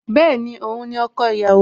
Bẹ́ẹ̀ni, Òun ni ọkọ ìyàwó